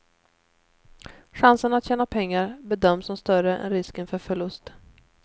Chansen att tjäna pengar bedöms som större än risken för förlust.